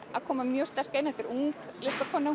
að koma mjög sterk inn þetta er ung listakona